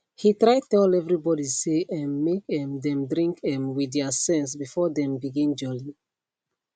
he try tell everybody say um make um them drink um with thier sense before them begin jolly